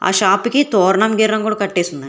ఆ షాపుకి తొర్ణం గీర్ణం కూడా కట్టేసి ఉన్న--